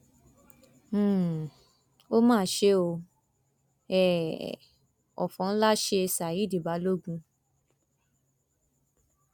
um ó mà ṣe o um òfò ńlá ṣe ṣádì balógun